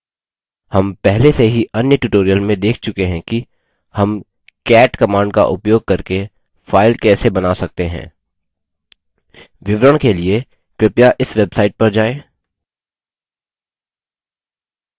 हम पहले से ही अन्य tutorial में देख चुके हैं कि हम cat command का उपयोग करके file कैसे बना सकते हैं विवरण के लिए कृपया इस website पर जाएँ